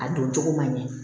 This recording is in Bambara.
A don cogo man ɲɛ